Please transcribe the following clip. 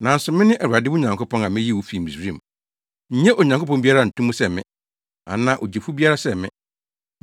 “Nanso mene Awurade wo Nyankopɔn, a miyii wo fii Misraim. Nnye Onyankopɔn biara nto mu sɛ me, anaa Ogyefo biara sɛ me.